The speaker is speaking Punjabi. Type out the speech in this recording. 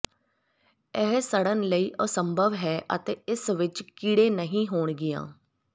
ਇਹ ਸੜਨ ਲਈ ਅਸੰਭਵ ਹੈ ਅਤੇ ਇਸ ਵਿੱਚ ਕੀੜੇ ਨਹੀਂ ਹੋਣਗੀਆਂ